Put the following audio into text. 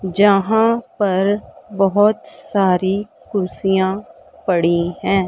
यहां पर बहुत सारी कुर्सियां पड़ी हैं।